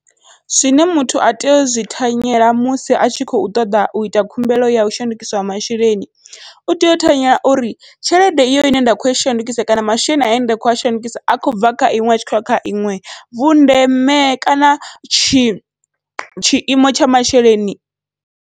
Zwine muthu a tea uzwi thanyela musi atshi khou ṱoḓa uita khumbelo yau shandukiswa ha masheleni, u tea u thanyela uri tshelede iyo ine nda kho i shandukisa kana masheleni ane nda kho a shandukisa a khou bva kha iṅwe atshi khou ya kha iṅwe vhundeme kana tshi tshiimo tsha masheleni.